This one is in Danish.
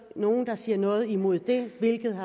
nogen der sagde noget imod det